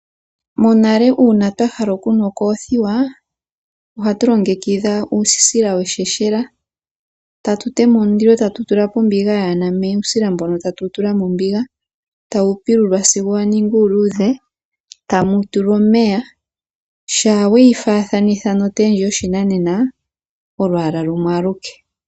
Monale uuna twa hala okunwa okoothiwa ohatu longekidha uusila wongaya, tatu tema omulilo tatu tula po ombiga yaa na omeya uusila mbono tatu wu tula mombiga tawu pilulwa sigo wa ningi uuluudhe tamu tulwa omeya. Shaa we yi faathanitha notee ndji yoshinanena olwaala lumwe aluke.